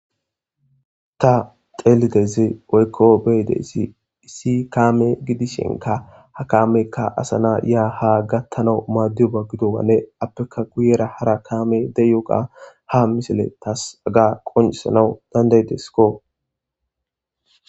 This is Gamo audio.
Ta xelidoyssi woyko be'idayssi issi kame gidishinka ha kmeykka asa na ya ha gathanaw madiyobanne iya guyera hara kamey de'iyoga ha misile tas qonccissanaw dandda'ides.